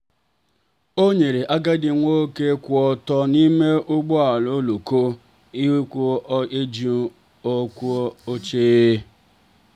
o nyere agadi nwoke kwụ ọtọ n'ime ụgbọ oloko jụrụ eju oche.